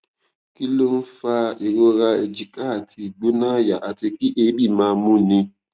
kí ló ń fa ìrora èjìká àti igbona aya àti kí eebi máa múni